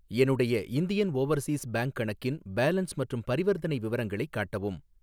என்னுடைய Indian Overseas Bank கணக்கின் balance மற்றும் பரிவர்த்தனை விவரங்களை காட்டவும்.